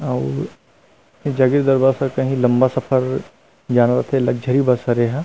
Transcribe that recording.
और जगिरदरा पे काही लम्बा सफर जहाँ पे लगज़री बस हरे एहा--